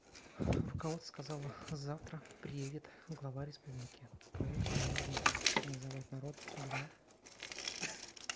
руководство сказала завтра приедет глава республики поэтому нужно называть народ для